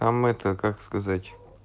там это как сказать